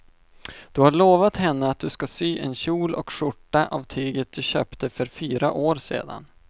Du har lovat henne att du ska sy en kjol och skjorta av tyget du köpte för fyra år sedan.